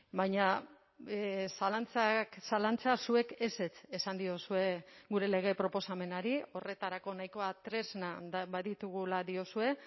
baina zalantzak zalantza zuek ezetz esan diozue gure lege proposamenari horretarako nahikoa tresna baditugula diozue